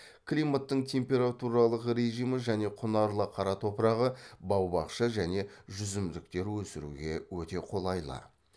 климаттың температуралық режимі және құнарлы қара топырағы бау бақша және жүзімдіктер өсіруге өте қолайлы